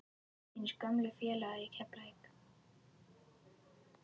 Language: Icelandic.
Þínir gömlu félagar í Keflavík?